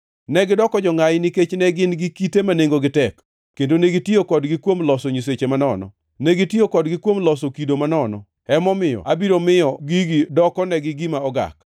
Negidoko jongʼayi nikech ne gin gi kite ma nengogi tek, kendo negitiyo kodgi kuom loso nyiseche manono. Negitiyo kodgi kuom loso kido manono; emomiyo abiro miyo gigi dokonegi gima ogak.